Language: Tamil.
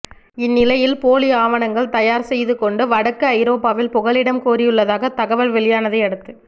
இந்நிலையில் போலி ஆவணங்கள் தயார் செய்துகொண்டு வடக்கு ஐரோப்பாவில் புகலிடம் கோரியுள்ளதாக தகவல் வெளியானதை அடுத்து